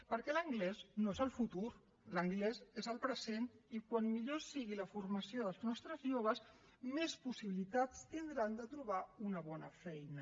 perquè l’anglès no és el futur l’anglès és el present i com millor sigui la formació dels nostres joves més possibilitats tindran de trobar una bona feina